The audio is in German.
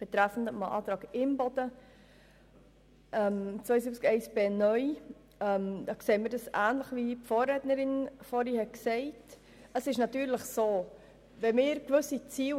Betreffend den Antrag Imboden zu Artikel 72 Absatz 1b (neu) sehen wir es ähnlich wie die Vorrednerin.